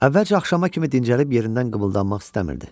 Əvvəlcə axşama kimi dincəlib yerindən qıbıldanmaq istəmirdi.